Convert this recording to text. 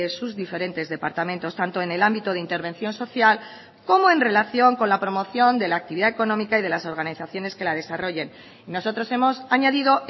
sus diferentes departamentos tanto en el ámbito de intervención social como en relación con la promoción de la actividad económica y de las organizaciones que la desarrollen nosotros hemos añadido